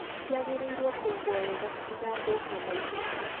Ciagĩrĩirwo kũigwo wega citigathũke naihenya.